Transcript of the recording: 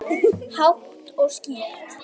Hátt og skýrt.